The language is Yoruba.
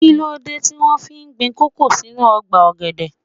Kíló dé tí wón fi gbin kòkó sínú ọgbà ọ̀gẹ̀dẹ̀?